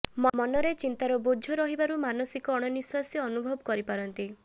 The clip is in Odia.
ମନରେ ଚିନ୍ତାର ବୋଝ ରହିବାରୁ ମାନସିକ ଅଣନିଶ୍ୱାସୀ ଅନୁଭବ କରିପାରନ୍ତି